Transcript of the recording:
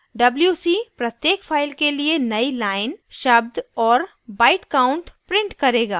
wc प्रत्येक file के लिए नयी लाइन शब्द और byte counts print करेगा